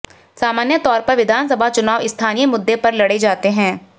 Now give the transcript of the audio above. सामान्य तौर पर विधानसभा चुनाव स्थानीय मुद्दे पर लड़े जाते हैं